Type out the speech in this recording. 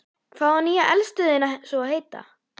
Hvað á nýja eldstöðin svo að heita?